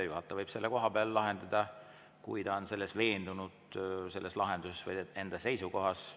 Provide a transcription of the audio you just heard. Juhataja võib selle kohapeal lahendada, kui ta on lahenduses või enda seisukohas veendunud.